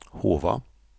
Hova